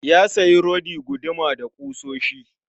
Ya sayi rodi, guduma da kusoshi